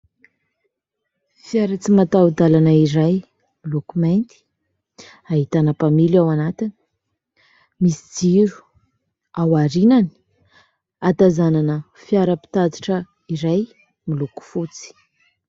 Fiara tsy mataho-dalana iray miloko mainty, ahitana mpamily ao anatiny, misy jiro aorianany, ahatazanana fiara mpitatitra iray miloko fotsy.